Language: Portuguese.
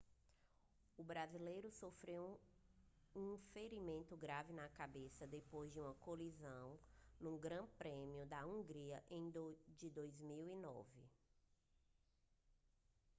o brasileiro sofreu um ferimento grave na cabeça depois de uma colisão no grande prêmio da hungria de 2009